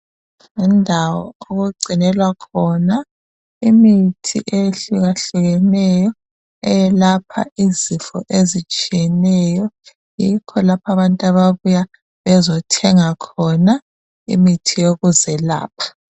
Yindawo okugcinelwa khona imithi ehluka hlukeneyo eyelapha izifo ezitshiyeneyo yikho lapha abantu ababuya bezothenga khona imithi yokuzelapha.